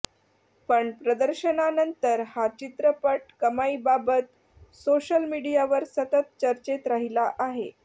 पण प्रदर्शनानंतर हा चित्रपट कमाईबाबत सोशल मीडियावर सतत चर्चेत राहिला आहे